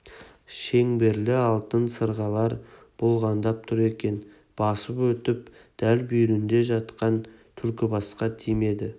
шеңберлі алтын сырғалар бұлғаңдап тұр екен басып өтіп дәл бүйірінде жатқан түлкібасқа тимейді